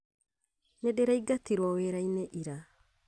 Nĩ ndiraingatirwo wĩra-inĩ ira